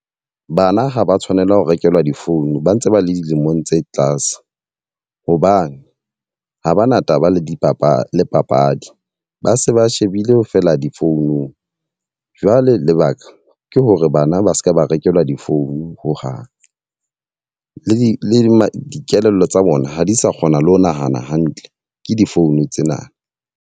Bana ha ba tshwanela ho rekelwa difounu ba ntse ba le dilemong tse tlase. Hobane ha bana taba le dipapadi le papadi, ba se ba shebile fela difounung. Jwale lebaka ke hore bana ba se ke ba rekelwa di-phone ho hang. Le dikelello tsa bona ha di sa kgona le ho nahana hantle ke di-phone tsena.